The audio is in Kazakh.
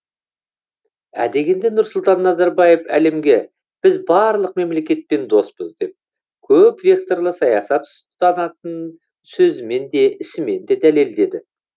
ә дегенде нұрсұлтан назарбаев әлемге біз барлық мемлекетпен доспыз деп көп векторлы саясат ұстанатынын сөзімен де ісімен де дәлелдеді